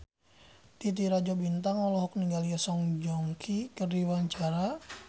Titi Rajo Bintang olohok ningali Song Joong Ki keur diwawancara